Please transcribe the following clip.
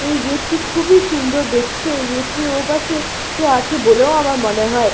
এই গেট -টি খুবই সুন্দর দেখতে এই গেট -টির ও পাশে কেউ আছে বলেও আমার মনে হয়।